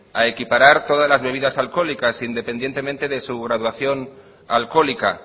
a equiparar todas las bebidas alcohólicas independientemente de su graduación alcohólica